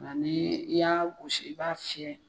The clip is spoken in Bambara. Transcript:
Ŋa nii i y'a gosi i b'a fiyɛ